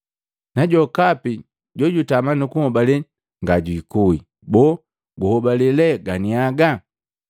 na jokapi jojutama nukunhobale, ngajikue. Boo, guhobale lee ganiaga?”